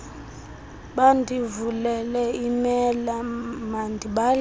bandivulele iimela mandibaleke